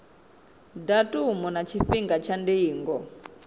datumu na tshifhinga tsha ndingo